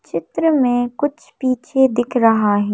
चित्र में कुछ पीछे दिख रहा है।